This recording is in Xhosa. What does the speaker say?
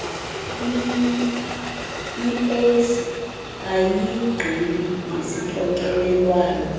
iec ayigqibi ngesixokelelwano